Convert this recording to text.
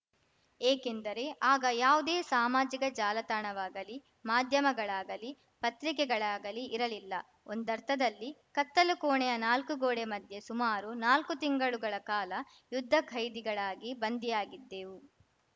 ಏಕೆಂದರೆ ಆಗ ಯಾವುದೇ ಸಾಮಾಜಿಕ ಜಾಲತಾಣವಾಗಲಿ ಮಾಧ್ಯಮಗಳಾಗಲಿ ಪತ್ರಿಕೆಗಳಾಗಲಿ ಇರಲಿಲ್ಲ ಒಂದರ್ಥದಲ್ಲಿ ಕತ್ತಲು ಕೋಣೆಯ ನಾಲ್ಕು ಗೋಡೆ ಮಧ್ಯೆ ಸುಮಾರು ನಾಲ್ಕು ತಿಂಗಳುಗಳ ಕಾಲ ಯುದ್ಧ ಖೈದಿಗಳಾಗಿ ಬಂಧಿಯಾಗಿದ್ದೆವು